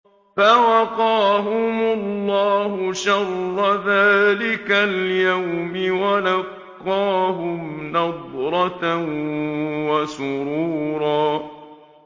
فَوَقَاهُمُ اللَّهُ شَرَّ ذَٰلِكَ الْيَوْمِ وَلَقَّاهُمْ نَضْرَةً وَسُرُورًا